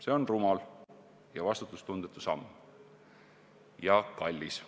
See on rumal, vastutustundetu ja kallis samm.